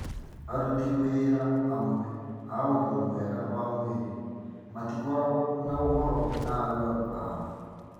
Aruti wĩra amwe a ũgima mwega wa mwĩrĩ matikoragwo na ũhoro na arwaru ao